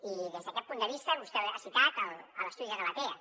i des d’aquest punt de vista vostè ha citat l’estudi de galatea